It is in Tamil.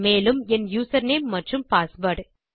மேலும் என் யூசர்நேம் மற்றும் பாஸ்வேர்ட்